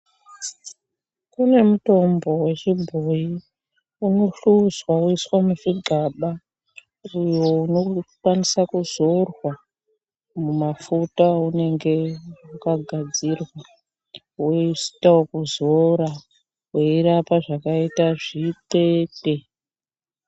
Kune mutombo wechibhoyi unohluzwa woiswa muzvigaba uyo unokwanisa kuzorwa mumafuta aunenge wakagadzirwa, woita ekuzora weirapa zvakaita zvithethe.